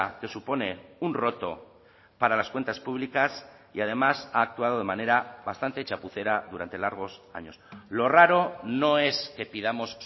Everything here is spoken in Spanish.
que supone un roto para las cuentas públicas y además ha actuado de manera bastante chapucera durante largos años lo raro no es que pidamos